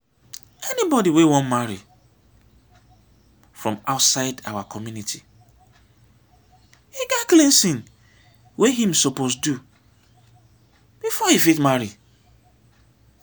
anybody wey wan marry from outside our community get cleansing wey im suppose do before e fit marry